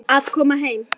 Að koma heim